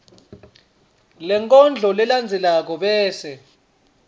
lenkondlo lelandzelako bese